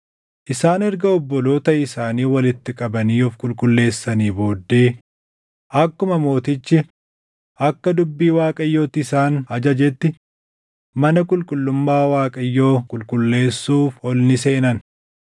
Isaan erga obboloota isaanii walitti qabanii of qulqulleessanii booddee akkuma mootichi akka dubbii Waaqayyootti isaan ajajetti mana qulqullummaa Waaqayyoo qulqulleessuuf ol ni seenan.